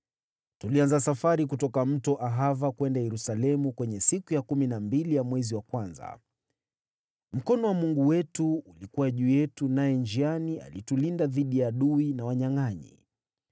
Tulianza safari kutoka Mto Ahava kwenda Yerusalemu kwenye siku ya kumi na mbili ya mwezi wa kwanza. Mkono wa Mungu wetu ulikuwa juu yetu, naye njiani alitulinda dhidi ya adui na wanyangʼanyi.